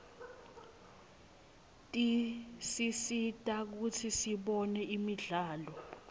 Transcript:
tisisita kutsi sibone imidlalo